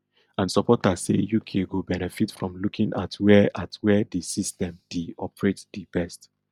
and supporters say uk go benefit from looking at wia at wia di system di operate di best